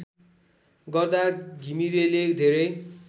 गर्दा घिमिरेले धेरै